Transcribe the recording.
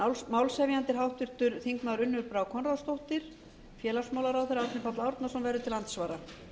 málshefjandi er háttvirtur þingmaður unnur brá konráðsdóttir hæstvirts félagsmálaráðherra árni páll árnason verður til andsvara